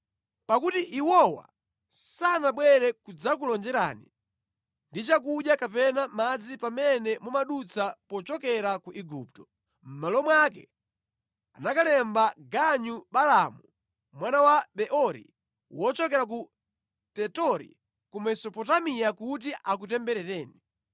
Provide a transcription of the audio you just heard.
Pakuti iwowa sanabwere kudzakulonjerani ndi chakudya kapena madzi pamene mumadutsa pochokera ku Igupto, mʼmalo mwake anakalemba ganyu Balaamu mwana wa Beori wochokera ku Petori ku Mesopotamiya kuti akutemberereni.